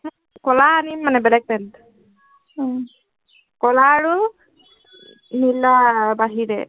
কলা আনিম মানে, বেলেগ pant । উম কলা আৰু নীলাৰ বাহিৰে